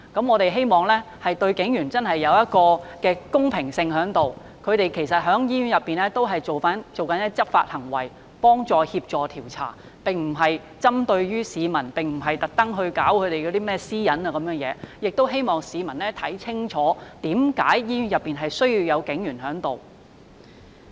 我們希望大家對警員公平，其實警員在醫院內進行的是執法行為，幫助協助調查，並不是針對市民或侵犯私隱，我亦希望市民看清楚為何醫院內需要有警員駐守。